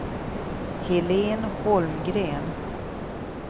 Helene Holmgren